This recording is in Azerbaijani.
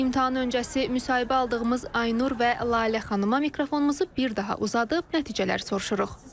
İmtahan öncəsi müsahibə aldığımız Aynur və Lalə xanıma mikrofonumuzu bir daha uzadıb nəticələri soruşuruq.